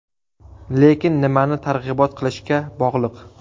Lekin nimani targ‘ibot qilishga bog‘liq.